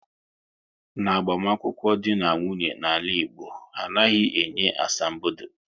N'agbamunkwu dị na nwunye na ala Igbo, anaghị enye asambodo